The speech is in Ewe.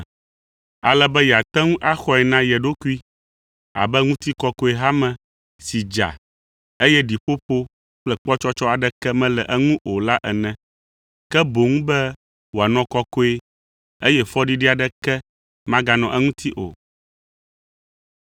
ale be yeate ŋu axɔe na ye ɖokui abe ŋutikɔkɔe hame si dza, eye ɖiƒoƒo kple kpɔtsɔtsɔ aɖeke mele eŋu o la ene, ke boŋ be wòanɔ kɔkɔe, eye fɔɖiɖi aɖeke maganɔ eŋuti o.